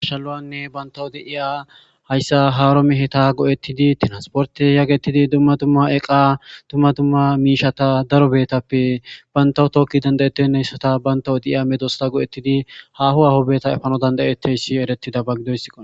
Arshalawanne bayntawo deiya hayssa haaro meheta go'ettidi tinasporte yaagetidi dumma tumma eqa tumma tumma miishata darobeetappe bayntaw tooki dandayettennehessata bayntawo deiya medosta go'ettidi haho ahobeeta efano dandayetteyssi erettida baggidoysso